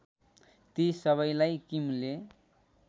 ती सबैलाई किमले